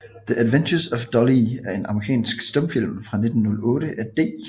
The Adventures of Dollie er en amerikansk stumfilm fra 1908 af D